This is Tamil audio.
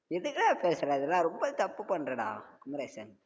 எதுக்குடா பேசுற இதெல்லா ரொம்ப தப்பு பண்றடா குமரேசன்